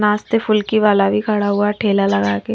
नाश्ते फुल्की वाला भी खड़ा हुआ है ठेला लगा के--